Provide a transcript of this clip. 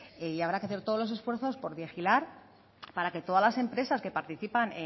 y habrá que hacer todos los esfuerzos por vigilar para que todas las empresas que participan